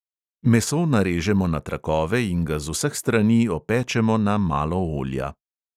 Meso narežemo na trakove in ga z vseh strani opečemo na malo olja.